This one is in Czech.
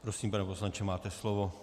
Prosím, pane poslanče, máte slovo.